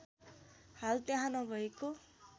हाल त्यहाँ नभएको